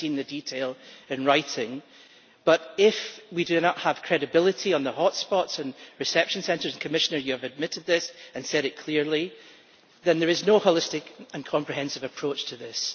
We have not seen the detail in writing, but if we do not have credibility on the hot spots' and reception centres and Commissioner, you have admitted this and said it clearly then there is no holistic and comprehensive approach to this.